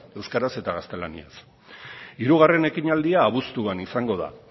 euskaraz eta gaztelaniaz hirugarren ekinaldia abuztuan izango da